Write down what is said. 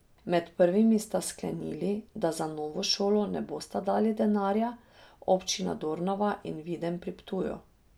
Med prvimi sta sklenili, da za novo šolo ne bosta dali denarja, občini Dornava in Videm pri Ptuju.